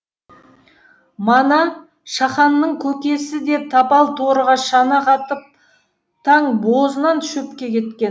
мана шаханның көкесі де тапал торыға шана қатып таң бозынан шөпке кеткен